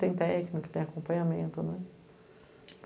Tem técnica, tem acompanhamento.